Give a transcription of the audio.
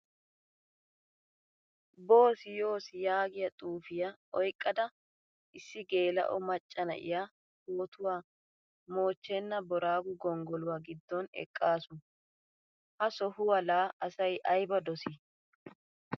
Boossi yoosi yaagiyaa xuufiyaa oyqqada issi gelao macca naiya pootuwaa moochchena booraago gonggoluwaa giddon eqqasu. Ha sohuwaa la asay ayba dosi?